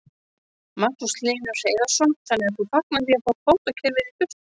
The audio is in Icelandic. Magnús Hlynur Hreiðarsson: Þannig að þú fagnar því að fá kvótakerfið í burtu?